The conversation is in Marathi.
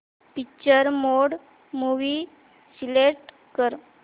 पिक्चर मोड मूवी सिलेक्ट कर